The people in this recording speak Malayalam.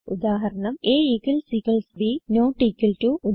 ഉദാഹരണം160a b നോട്ട് ഇക്വൽ ടോ